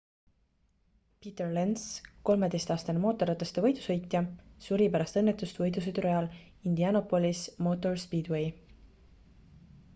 peter lenz 13-aastane mootorrataste võidusõitja suri pärast õnnetust võidusõidurajal indianopolis motor speedway